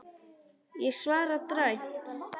Ég svara dræmt.